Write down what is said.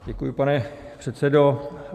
Děkuji, pane předsedo.